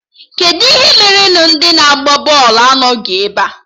Kedụ ihe mere na ndị na-agba bọọlụ anọghị ebe a?